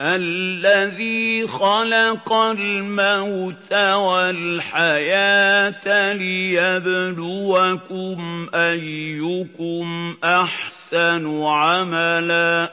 الَّذِي خَلَقَ الْمَوْتَ وَالْحَيَاةَ لِيَبْلُوَكُمْ أَيُّكُمْ أَحْسَنُ عَمَلًا ۚ